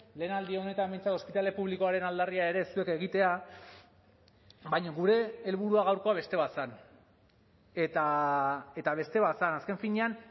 lehen aldi honetan behintzat ospitale publikoaren aldarria ere zuek egitea baina gure helburua gaurkoa beste bat zen eta beste bat zen azken finean